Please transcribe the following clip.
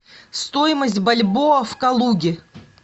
стоимость бальбоа в калуге